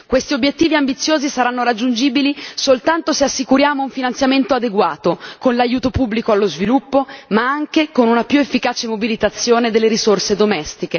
Questi obiettivi ambiziosi saranno raggiungibili soltanto se assicuriamo un finanziamento adeguato con l'aiuto pubblico allo sviluppo ma anche con una più efficace mobilitazione delle risorse nazionali.